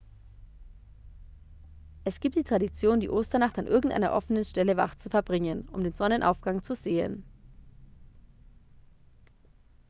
es gibt die tradition die osternacht an irgendeiner offenen stelle wach zu verbringen um den sonnenaufgang zu sehen